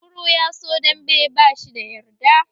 Kunkuru ya so dambe, bashi da yarda